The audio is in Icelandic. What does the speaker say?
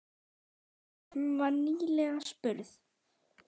Jú, hún var nýlega spurð.